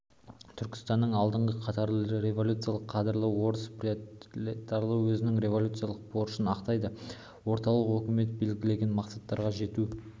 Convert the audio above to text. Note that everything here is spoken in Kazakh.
түркістанның алдыңғы қатарлы революциялық кадрлары орыс пролетариаты өзінің революциялық борышын ақтайды орталық өкімет белгілеген мақсаттарға жету